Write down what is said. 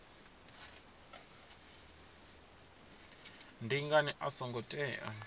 ndi ngani a songo tea